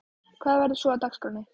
Hvað verður svo á dagskránni?